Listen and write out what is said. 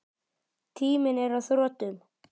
Tíminn er á þrotum.